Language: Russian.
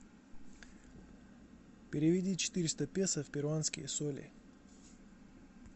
переведи четыреста песо в перуанские соли